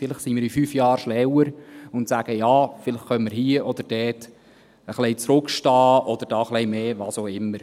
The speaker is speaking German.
Vielleicht sind wir in 5 Jahren schlauer und sagen: «Ja, vielleicht können wir hier oder da ein bisschen zurückstehen oder dort ein bisschen mehr … was auch immer.»